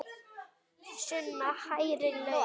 Sunna: Hærri laun?